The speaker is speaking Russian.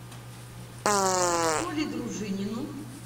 коле дружинину